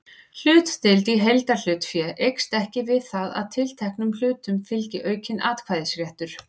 Hlutdeild í heildarhlutafé eykst ekki við það að tilteknum hlutum fylgi aukinn atkvæðisréttur.